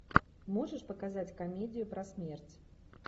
можешь показать комедию про смерть